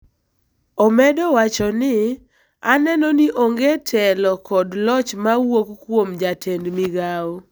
Omedo wacho ni, aneno ni onge telo kod loch ma wuok kuom Jatend Migao.